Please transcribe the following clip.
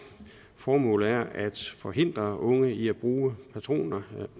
formålet er at forhindre unge i at bruge